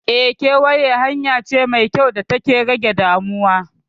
Eh, kewaye hanya ce mai kyau data ke rage damuwa.